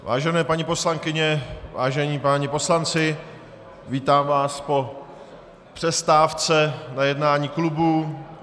Vážené paní poslankyně, vážení páni poslanci, vítám vás po přestávce na jednání klubu.